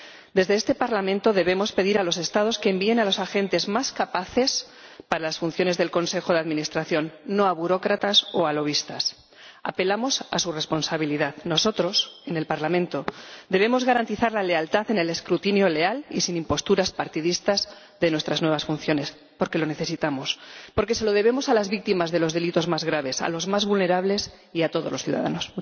Desde este Parlamento debemos pedir a los Estados que envíen a los agentes más capaces para las funciones del Consejo de Administración, no a burócratas o a lobistas. Apelamos a su responsabilidad. Nosotros, en el Parlamento, debemos garantizar la lealtad en el escrutinio —leal y sin imposturas partidistas— de nuestras nuevas funciones porque lo necesitamos, porque se lo debemos a las víctimas de los delitos más graves, a los más vulnerables y a todos los ciudadanos.